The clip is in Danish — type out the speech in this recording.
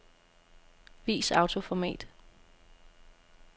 Vis autoformat.